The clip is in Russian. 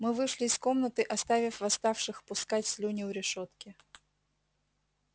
мы вышли из комнаты оставив восставших пускать слюни у решётки